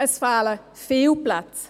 es fehlen viele Plätze.